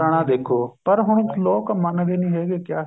ਪੁਰਾਣਾ ਦੇਖੋ ਪਰ ਹੁਣ ਲੋਕ ਮੰਨਦੇ ਨਹੀਂ ਹੈਗੇ ਕਿਆ